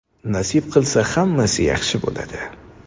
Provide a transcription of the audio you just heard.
Nasib qilsa, hammasi yaxshi bo‘ladi.